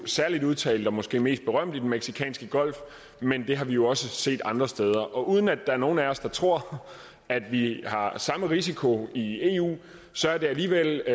særlig udtalt og måske mest berømt i den mexicanske golf men det har vi jo også set andre steder og uden at der er nogen af os der tror at vi har samme risiko i eu så er det alligevel